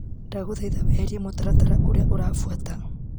Ndagũthaitha weherie mũtaratara ũrĩa ũrabuata.